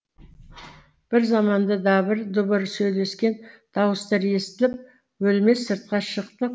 бір заманда дабыр дұбыр сөйлескен дауыстар естіліп өлмес сыртқа шықты